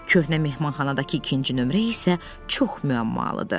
Köhnə mehmanxanadakı ikinci nömrə isə çox müəmmalıdır.